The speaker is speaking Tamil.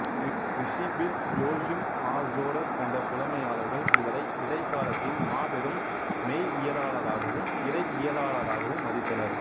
விஷீப்பிள் ஜோச்சிம் ஆர் சோடர் போன்ற புலமையாளர்கள் இவரை இடைக்காலத்தின் மாபெரும் மெய்யியலாளராகவும் இறையியலாளராகவும் மதித்தனர்